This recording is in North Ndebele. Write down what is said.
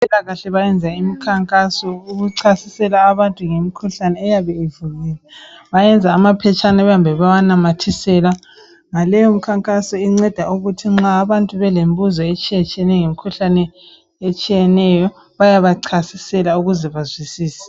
Abempilakahle benza imikhankaso ukuchasisela abantu ngemikhuhlane eyabe ivukile. Ngaleyomikhankaso inceda ukuba nxa abantu belemibuzo etshiyetshiyeneyo mayelana lemikhuhlane etshiyeneyo. Bayabachasisela ukuze bazwisise.